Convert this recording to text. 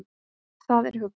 Það er huggun.